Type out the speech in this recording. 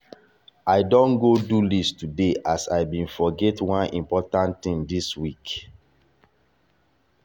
i don go do list today as i been forget one important thing this week.